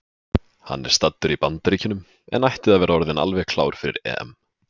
Hann er staddur í Bandaríkjunum en ætti að vera orðinn alveg klár fyrir EM.